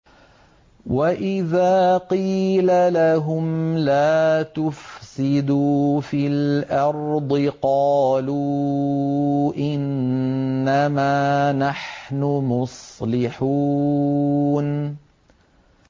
وَإِذَا قِيلَ لَهُمْ لَا تُفْسِدُوا فِي الْأَرْضِ قَالُوا إِنَّمَا نَحْنُ مُصْلِحُونَ